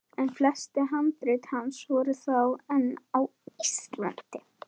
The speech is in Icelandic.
En flest handrit hans voru þá enn á Íslandi.